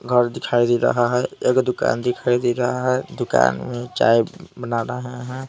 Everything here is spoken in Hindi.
घर दिखाई दे रहा है एक दुकान दिखाई दे रहा है दुकान में चाय बना रहे हैं ।